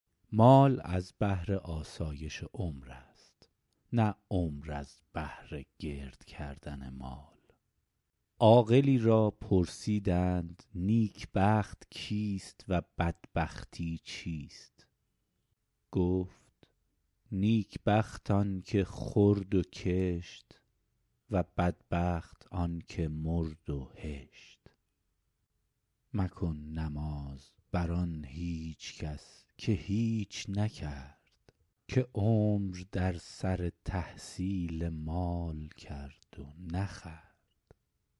مال از بهر آسایش عمر است نه عمر از بهر گرد کردن مال عاقلی را پرسیدند نیک بخت کیست و بدبختی چیست گفت نیک بخت آن که خورد و کشت و بدبخت آن که مرد و هشت مکن نماز بر آن هیچ کس که هیچ نکرد که عمر در سر تحصیل مال کرد و نخورد